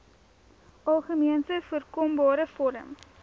algemeenste voorkombare vorm